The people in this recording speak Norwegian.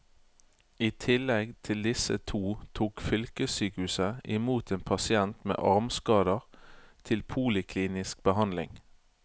I tillegg til disse to tok fylkessykehuset i mot en pasient med armskader til poliklinisk behandling.